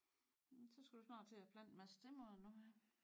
Men så skal du snart til at plante en masse stedmoder nu her?